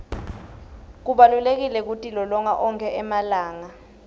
kubalulekile kutilolonga onkhe emalanga